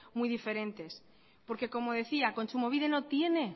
muy diferentes porque como decía kontsumobide no tiene